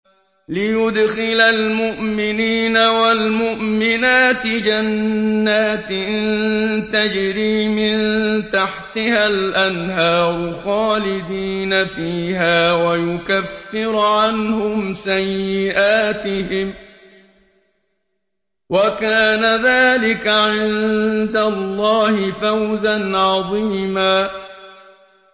لِّيُدْخِلَ الْمُؤْمِنِينَ وَالْمُؤْمِنَاتِ جَنَّاتٍ تَجْرِي مِن تَحْتِهَا الْأَنْهَارُ خَالِدِينَ فِيهَا وَيُكَفِّرَ عَنْهُمْ سَيِّئَاتِهِمْ ۚ وَكَانَ ذَٰلِكَ عِندَ اللَّهِ فَوْزًا عَظِيمًا